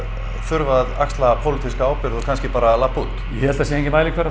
þurfa að axla pólitíska ábyrgð og kannski bara labba út ég held það sé enginn mælikvarði